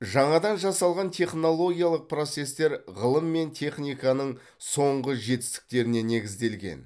жаңадан жасалған технологиялық процестер ғылым мен техниканың соңғы жетістіктеріне негізделген